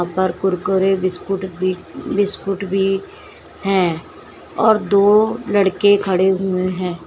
और कुरकुरे बिस्किट भी बिस्किट भी है और दो लड़के भी खड़े हो।